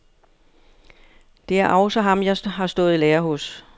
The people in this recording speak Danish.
Det er også ham, jeg har stået i lære hos.